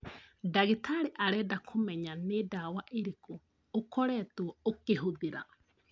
Dagĩtarĩ arenda kũmenya nĩ dawa irĩkũ ũkoretwo ũkĩhũthĩra